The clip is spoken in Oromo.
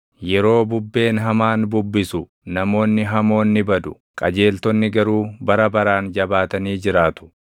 Yeroo bubbeen hamaan bubbisu namoonni hamoon ni badu; qajeeltonni garuu bara baraan jabaatanii jiraatu.